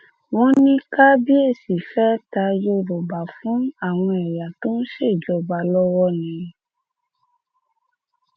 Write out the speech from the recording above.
wọn ní kábíyèsí fẹẹ ta yorùbá fún àwọn ẹyà tó ń ṣèjọba lọwọ ni